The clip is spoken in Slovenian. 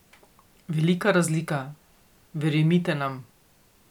Velika razlika, verjemite nam.